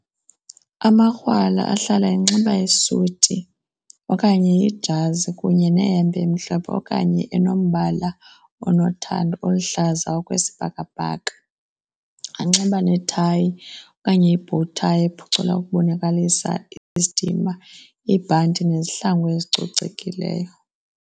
Amakrwala ahlala enxiba isuti okanye ijazi kunye nehempe emhlophe okanye enombala onothando, oluhlaza okwesibhakabhaka. Anxiba nethayi okanye ibhowu thayi ephucula ukubonakalisa isidima, ibhanti nezihlangu ezicocekileyo.